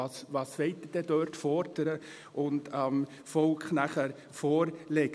Was wollen Sie denn dort fordern und dem Volk nachher vorlegen?